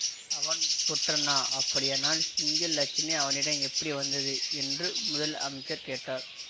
அவன் ஒற்றனா அப்படியனால் சிங்க இலச்சினை அவனிட எப்படி வந்தது என்று முதல் அமைச்சர் கேட்டார்